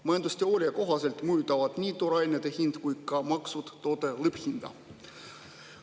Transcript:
Majandusteooria kohaselt mõjutavad nii toorainete hind kui ka maksud toote lõpphinda.